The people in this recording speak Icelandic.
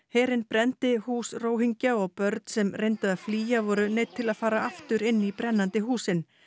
herinn brenndi hús Róhingja og börn sem reyndu að flýja voru neydd til að fara aftur inn í brennandi húsin